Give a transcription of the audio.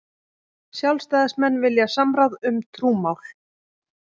Sjálfstæðismenn vilja samráð um trúmál